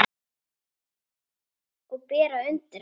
Og bera undir hana.